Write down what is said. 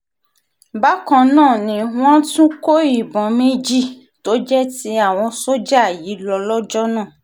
bákan náà ni wọ́n tún kó ìbọn méjì tó jẹ́ ti àwọn sójà yìí lọ lọ́jọ́ náà